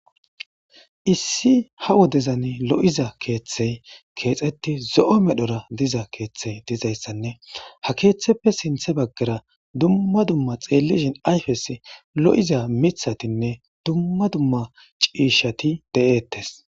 Issi ha woddezan lo'za keethey kexet zo'o medhora diza kethey dizaysanne ha ketheppe sinthe bagara dumma dumma xelishn ayfes lo'iza mithatinne dumma dumma ciishat de'etes.